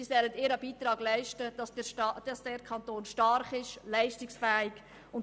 Solche Unternehmungen sollen einen Beitrag leisten, damit unser Kanton stark und leistungsfähig ist.